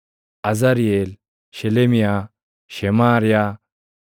Azariʼeel, Shelemiyaa, Shemaariyaa,